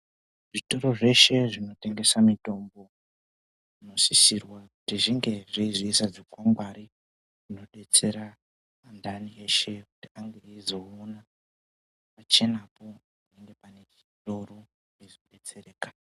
Zvitoro zveshe zvino tengeserwa mitombo zvinosisirwa kuti zvinge zveizoisa zvikwangwari zvinodetsera antani veshe kuti vange veizoona pakachenapo kuti panechitoro veizo betsereka